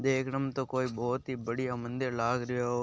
देखणमे तो कोई बहुत ही बड़ियो मंदिर लाग रहियो ।